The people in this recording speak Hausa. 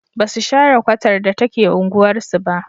Ba su share kwatar da take unguwarsu ba.